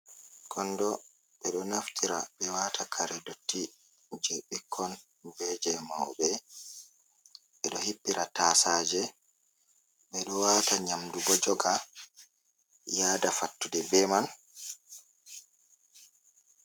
Kondo: Ɓe do naftira ɓe wata kare dotti je ɓikkon be je mauɓe, ɓe ɗo hippira tasaje, ɓe ɗo wata nyamdu bo joga yada fattude be man.